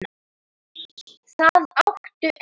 Það áttu enn.